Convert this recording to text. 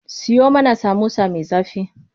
Siyo mana samosa me zafi.